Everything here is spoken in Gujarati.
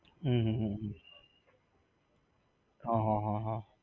હમ હમ હમ હમ હા હા હા હા